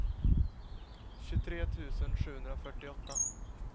tjugotre tusen sjuhundrafyrtioåtta